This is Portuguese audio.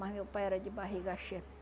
Mas meu pai era de barriga cheia.